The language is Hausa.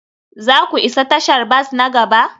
za ku isa tashar bas na gaba?